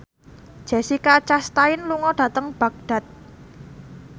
Jessica Chastain lunga dhateng Baghdad